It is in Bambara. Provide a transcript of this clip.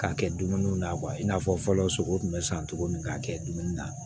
K'a kɛ dumuni na i n'a fɔ fɔlɔ sogo tun bɛ san cogo min k'a kɛ dumuni na